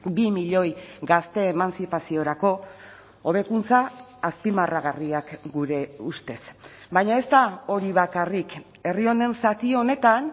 bi milioi gazte emantzipaziorako hobekuntza azpimarragarriak gure ustez baina ez da hori bakarrik herri honen zati honetan